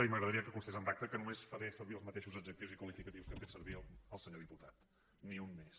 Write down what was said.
i m’agradaria que constés en acta que només faré servir els mateixos adjectius i qualificatius que ha fet servir el senyor diputat ni un més